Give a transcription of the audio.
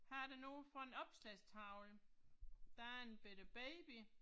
Her er der noget fra en opslagstavle. Der er en bette baby